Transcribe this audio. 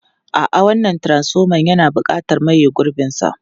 A'a, wannan transfoman yana buƙatar maye gurbinsa.